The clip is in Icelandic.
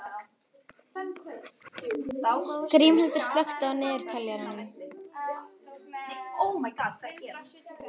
Grímhildur, slökktu á niðurteljaranum.